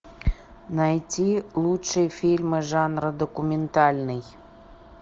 найти лучшие фильмы жанра документальный